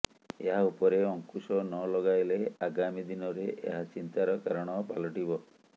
ଏହା ଉପରେ ଅଙ୍କୁଶ ନ ଲଗାଇଲେ ଆଗାମି ଦିନରେ ଏହା ଚିନ୍ତାର କାରଣ ପାଲଟିବ